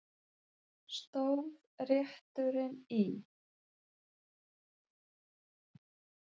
Stóð rétturinn í